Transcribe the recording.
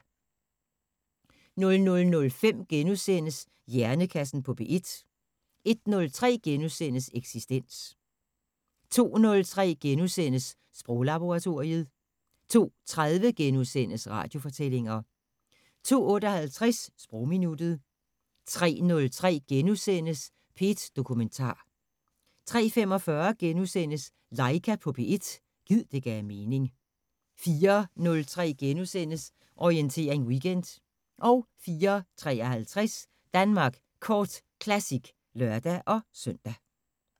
00:05: Hjernekassen på P1 * 01:03: Eksistens * 02:03: Sproglaboratoriet * 02:30: Radiofortællinger * 02:58: Sprogminuttet 03:03: P1 Dokumentar * 03:45: Laika på P1 – gid det gav mening * 04:03: Orientering Weekend * 04:53: Danmark Kort Classic (lør-søn)